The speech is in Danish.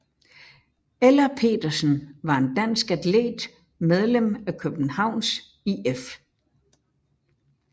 Ella Petersen var en dansk atlet medlem af Københavns IF